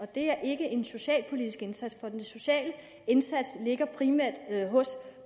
det er ikke en socialpolitisk indsats for den sociale indsats ligger primært hos